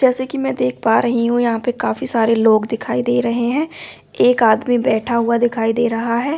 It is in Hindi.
जैसे कि मैं देख पा रही हूं यहां पे काफी सारे लोग दिखाई दे रहे हैं एक आदमी बैठा हुआ दिखाई दे रहा है।